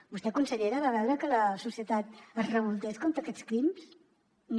vostè consellera va veure que la societat es revoltés contra aquests crims no